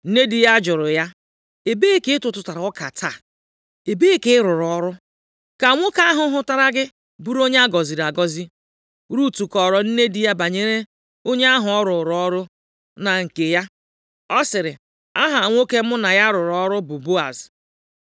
Nne di ya jụrụ ya, “Ebee ka ị tụtụrụ ọka taa? Ebee ka ị rụrụ ọrụ? Ka nwoke ahụ hụtara gị bụrụ onye a gọziri agọzi.” Rut kọọrọ nne di ya banyere onye ahụ ọ rụrụ ọrụ na nke ya. Ọ sịrị, “Aha nwoke mụ na ya rụrụ ọrụ bụ Boaz.”